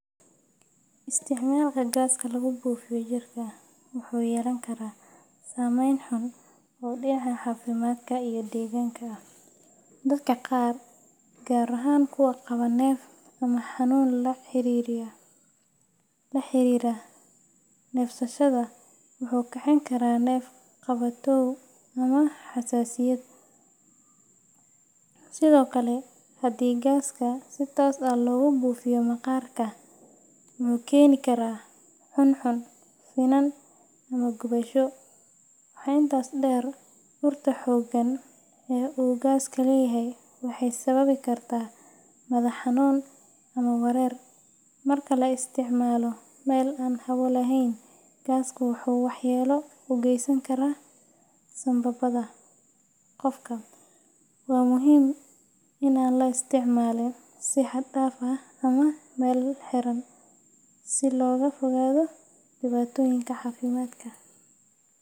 Isticmaalka gaaska lagu buufiyo jirka wuxuu yeelan karaa saameyn xun oo dhinaca caafimaadka iyo deegaanka ah. Dadka qaar, gaar ahaan kuwa qaba neef ama xanuun la xiriira neefsashada, wuxuu kicin karaa neef-qabatow ama xasaasiyad. Sidoo kale, haddii gaaska si toos ah loogu buufiyo maqaarka, wuxuu keeni karaa cuncun, finan, ama gubasho. Waxaa intaas dheer, urta xooggan ee uu gaasku leeyahay waxay sababi kartaa madax xanuun ama wareer. Marka la isticmaalo meel aan hawo lahayn, gaasku wuxuu waxyeello u geysan karaa sambabada qofka. Waa muhiim in aan la isticmaalin si xad dhaaf ah ama meel xiran, si looga fogaado dhibaatooyinka caafimaad.